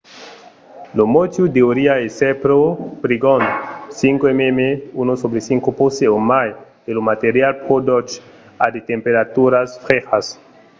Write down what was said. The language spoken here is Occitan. lo motiu deuriá èsser pro prigond 5 mm 1/5 poce o mai e lo material pro doç a de temperaturas frejas